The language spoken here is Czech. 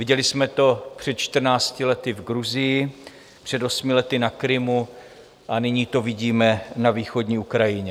Viděli jsme to před čtrnácti lety v Gruzii, před osmi lety na Krymu a nyní to vidíme na východní Ukrajině.